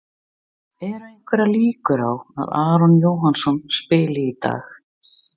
Eru einhverjar líkur á að Aron Jóhannsson spili í dag?